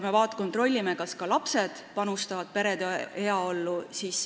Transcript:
Me kontrollisime, kas ka lapsed panustavad perede heaollu.